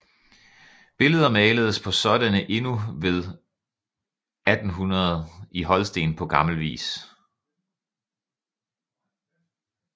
Billeder maledes på sådanne endnu ved år 1800 i Holsten på gammel vis